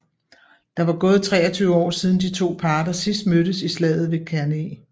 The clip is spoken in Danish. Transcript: Der var gået 23 år siden de to parter sidst mødtes i slaget ved Cannae